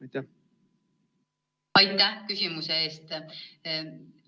Aitäh küsimuse eest!